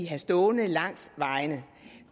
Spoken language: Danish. have stående langs vejene